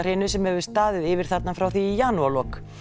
skjálftahrinu sem hefur staðið yfir þarna frá því í janúarlok